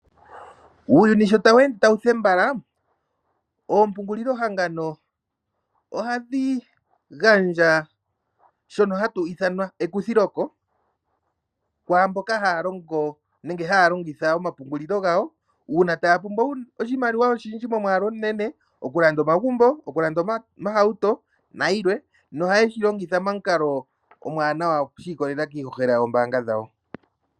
Uuyuni sho tawu ende tawu thembala, oompungulilohangano ohadhi gandja shono hashi ithanwa ekuthiloko, kwaamboka haya longo nenge haya longitha omapungulilo gawo, uuna taya pumbwa oshimaliwa oshindji momwaalu omunene okulanda Omagumbo, okulanda Iihauto nosho tuu. Ohashi longo momukalo omwaanawa shi ikolelela kiihohela yoombaanga dhawo.